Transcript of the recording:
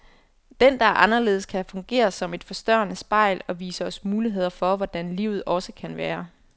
Den, der er anderledes, kan fungere som et forstørrende spejl, og vise os muligheder for hvordan livet også kan være.